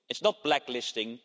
it is not blacklisting